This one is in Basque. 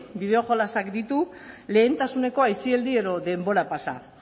bideoa jolasak ditu lehentasuneko aisialdi edo denbora pasa